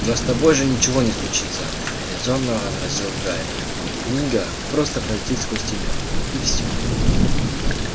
но с тобой же ничего не случится резонно возразил гарри книга просто пролетит сквозь тебя и все